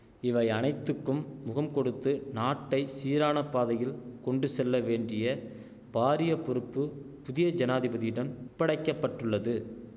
இவை அனைத்துக்கும் முகம்கொடுத்து நாட்டை சீரான பாதையில் கொண்டுசெல்ல வேண்டிய பாரிய பொறுப்பு புதிய ஜனாதிபதியிடம் ஒப்படைக்க பட்டுள்ளது